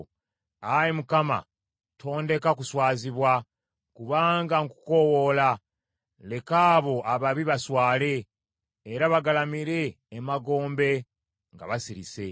Ayi Mukama tondeka kuswazibwa, kubanga nkukoowoola; leka abo ababi baswale, era bagalamire emagombe nga basirise.